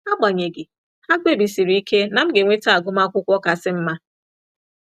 Agbanyeghi, ha kpebisiri ike na m ga-enweta agụmakwụkwọ kasị mma.